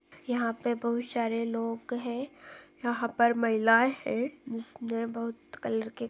यहाँ पर बहुत सारे लोग हैं यहाँ पर महिलाएं हैं जिसने बहुत कलर के --